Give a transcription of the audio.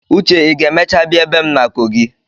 Uche ị ga-emecha bịa ebe m na kogi?